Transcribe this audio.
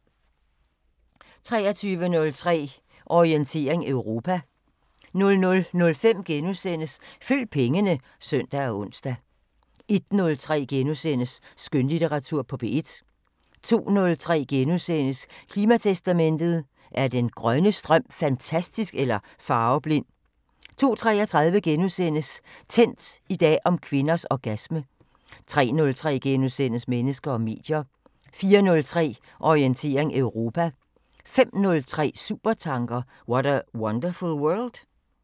23:03: Orientering Europa 00:05: Følg pengene *(søn og ons) 01:03: Skønlitteratur på P1 * 02:03: Klimatestamentet: Er den grønne strøm fantastisk eller farveblind? * 02:33: Tændt: I dag om kvinders orgasme * 03:03: Mennesker og medier * 04:03: Orientering Europa 05:03: Supertanker: What a wonderful world?